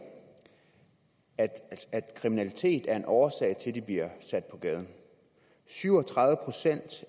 at kriminalitet er en årsag til at de bliver sat på gaden syv og tredive procent